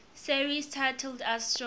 series titled astro